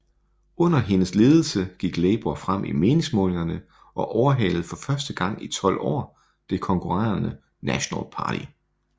Under hendes ledelse gik Labour frem i meningsmålingerne og overhalede for første gang i tolv år det konkurrerende National Party